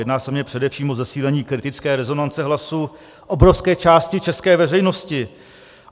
Jedná se mně především o zesílení kritické rezonance hlasu obrovské části české veřejnosti.